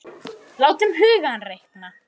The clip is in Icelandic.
Látum hugann reika.